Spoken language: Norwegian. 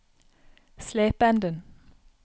Slependen